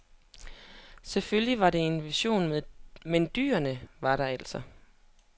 Selvfølgelig var det en vision men dyrene var der altså.